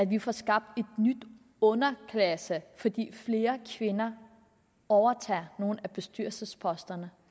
vi får skabt en ny underklasse fordi flere kvinder overtager nogle af bestyrelsesposterne